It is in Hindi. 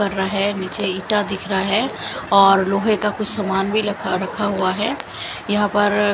कर रहे निचे ईटा दिख रहा है और लोहे का कुछ सामान भी रखा हुआ है और यहां पर --